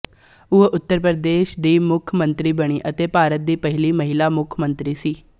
ਉਹ ਉੱਤਰ ਪ੍ਰਦੇਸ਼ ਦੀ ਮੁੱਖ ਮੰਤਰੀ ਬਣੀ ਅਤੇ ਭਾਰਤ ਦੀ ਪਹਿਲੀ ਮਹਿਲਾ ਮੁੱਖ ਮੰਤਰੀ ਸੀ